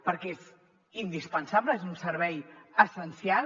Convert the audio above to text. perquè és indispensable és un servei essencial